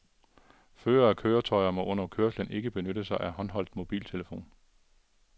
Førere af køretøjer må under kørsel ikke benytte sig af håndholdt mobiltelefon.